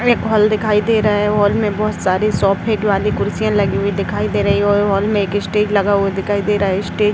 एक हॉल दिखाई दे रहा है। हॉल में बहोत सारी वाली कुर्सियाँ लगी हुई दिखाई दे रही हैं। हॉल में एक स्टेज लगा हुआ दिखाई दे रहा है स्टेज --